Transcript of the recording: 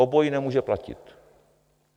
Obojí nemůže platit.